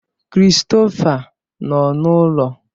Christopher nọ n'ụlọ?